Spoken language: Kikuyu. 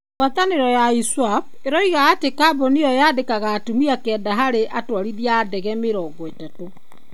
Ngwatanĩro ya ISWAP ĩroiga atĩ kambũni ĩyo yaandĩkaga atumia kenda harĩ atwarithia a ndege mĩrongo itatũ.